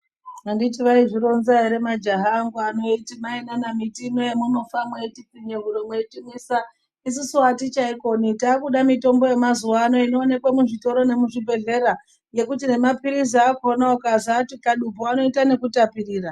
Handi vaizvironza here majaya angu ano eiti Mai kana miti yenyu yamunofa mweitipfinya huro meitimwisa isusu hatichaikoni takuda mutombo yemazuwano inoonekwa muzvitoro nemuzvibhehlera yekuti nemapirizi achona ukamwati kadu anoita nekutapirira.